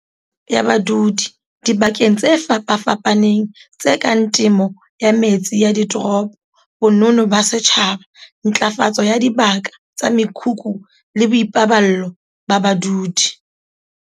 pele ke mekgatlo ya badudi dibakeng tse fapafapaneng tse kang temo ya metse ya ditoropo, bonono ba setjhaba, ntlafatso ya dibaka tsa mekhukhu le boipaballo ba badudi.